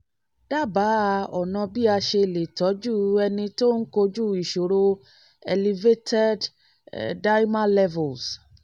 dábàá ọ̀nà bí a ṣe lè tọ́jú ẹni tó ń kojú ìṣòro elevated d-dimer levels